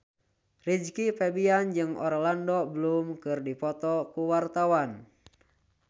Rizky Febian jeung Orlando Bloom keur dipoto ku wartawan